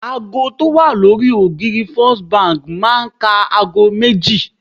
ago ti o wa lori ògiri first Bank ma n ká agọ méjì